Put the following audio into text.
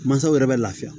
Mansaw yɛrɛ bɛ lafiya